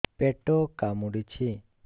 ପେଟ କାମୁଡୁଛି